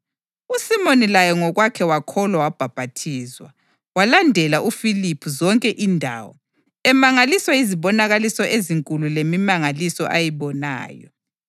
USimoni laye ngokwakhe wakholwa wabhaphathizwa. Walandela uFiliphu zonke indawo, emangaliswa yizibonakaliso ezinkulu lemimangaliso ayibonayo.